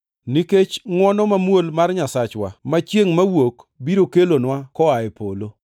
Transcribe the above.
nikech ngʼwono mamuol mar Nyasachwa, ma chiengʼ mawuok biro kelonwa koa e polo,